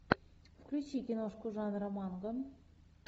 включи киношку жанра манга